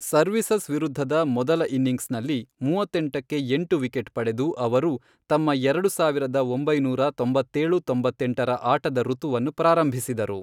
Services ವಿರುದ್ಧದ ಮೊದಲ ಇನ್ನಿಂಗ್ಸ್ನಲ್ಲಿ ಮೂವತ್ತೆಂಟಕ್ಕೆ ಎಂಟು ವಿಕೆಟ್ ಪಡೆದು, ಅವರು ತಮ್ಮ ಎರಡು ಸಾವಿರದ ಒಂಬೈನೂರ ತೊಂಬತ್ತೇಳು ತೊಂಬತ್ತೆಂಟರ ಆಟದ ಋತುವನ್ನು ಪ್ರಾರಂಭಿಸಿದರು.